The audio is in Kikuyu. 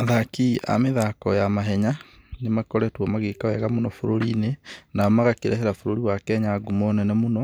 Athaki a mĩthako ya mahenya nĩ makoretwo magĩka wega mũno bũrũri-inĩ, na magakĩrehera bũrũri wa Kenya ngumo nene mũno,